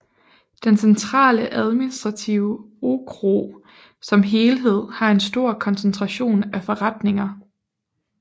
Den Centrale administrative okrug som helhed har en stor koncentration af forretninger